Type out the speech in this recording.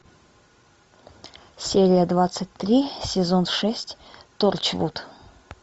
серия двадцать три сезон шесть торчвуд